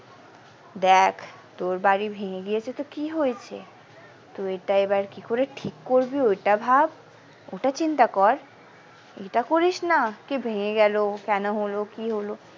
দেখ তোর বাড়ি ভেঙে গিয়েছে তো কি হয়েছে তুই ওইটা এবার কি করে ঠিক করবি ওটা ভাব ওটা চিন্তা কর এটা করিস না কি ভেঙে গেল কেন হলো কি হলো।